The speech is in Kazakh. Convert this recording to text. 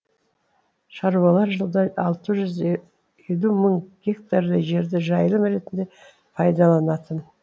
шаруалар жылда алты жүз елудей мың гектардай жерді жайылым ретінде пайдаланатын